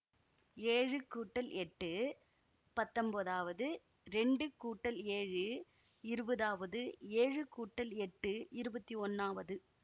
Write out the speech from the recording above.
ஏழு கூட்டல் எட்டு பத்தொம்போதாவது இரண்டு கூட்டல் ஏழு இருபதாவது ஏழு கூட்டல் எட்டு இருபத்தி ஒன்னாவது